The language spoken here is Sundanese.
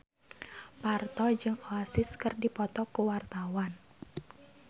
Parto jeung Oasis keur dipoto ku wartawan